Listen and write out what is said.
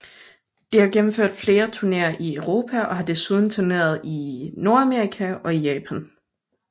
Det har gennemført flere turneer i Europa og har desuden turneret i Nordamerika og Japan